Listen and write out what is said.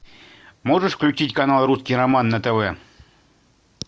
можешь включить канал русский роман на тв